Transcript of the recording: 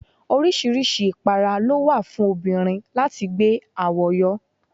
Oríṣiríṣi ipara ló wà fún obìnrin láti gbé àwo yọ.